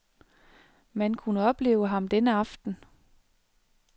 Man kunne opleve ham denne aften.